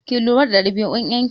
Ki lura da ɗabi'un ƴar ki!